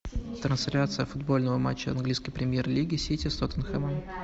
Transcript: трансляция футбольного матча английской премьер лиги сити с тоттенхэмом